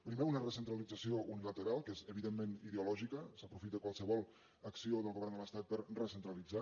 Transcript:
primer una recentralització unilateral que és evidentment ideològica s’aprofita qualsevol acció del govern de l’estat per recentralitzar